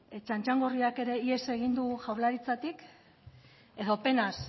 txantxangorriak ere ihes egin du jaurlaritzatik edo penaz